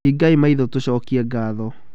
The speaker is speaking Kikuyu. Hingai maitho tũcokie ngatho.